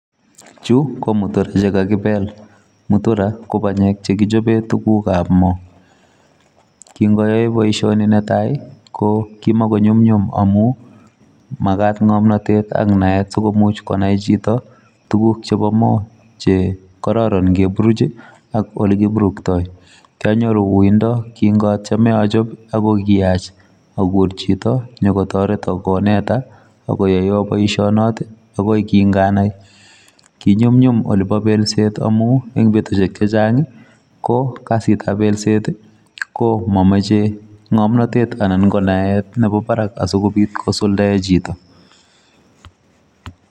Chu, ko mutura che kakibel. Mutura ko panyek chekichope tugukab moo. Kingayae boisoni ne tai, ko kimako nyum nyum amu, magat ng'omnotet ak naet sikomuch konai chito tuguk chebo moo, che kararan ngeburuch ak ole kiburuktoi. Kianyoru uindo kingatieme achop amu kiyach akur chito nyikotoreto koneta, akoyoiwo boisonot, agoi king'anai. Kinyumnyum olebo belset amu eng' betushek chechang' ko kasitab belset, ko mameche ng'omnotet anan ko naet nebo barak asikobit kosuldae chito.